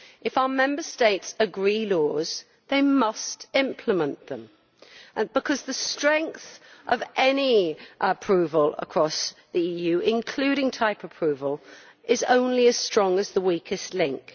If our Member States agree laws, they must implement them because the strength of any approval across the EU, including type approval, is only as strong as the weakest link.